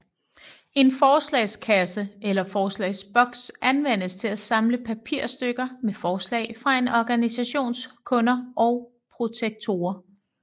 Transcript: En forslagskasse eller forslagsboks anvendes til at samle papirstykker med forslag fra en organisations kunder og protektorer